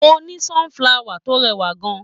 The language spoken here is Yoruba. Mo ní sunflower tó rẹwà kan.